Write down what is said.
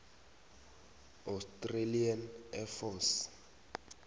australian air force